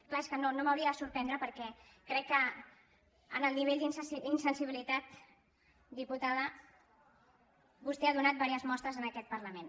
és clar és que no m’hauria de sorprendre perquè crec que en el nivell d’insensibilitat diputada vostè ha donat diverses mostres en aquest parlament